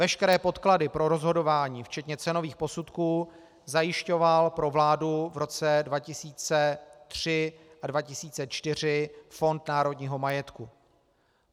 Veškeré podklady pro rozhodování včetně cenových posudků zajišťoval pro vládu v roce 2003 a 2004 Fond národního majetku.